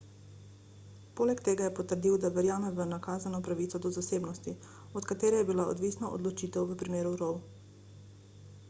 poleg tega je potrdil da verjame v nakazano pravico do zasebnosti od katere je bila odvisna odločitev v primeru roe